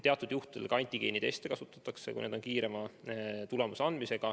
Teatud juhtudel kasutatakse ka antigeeniteste, need annavad kiiremini tulemuse.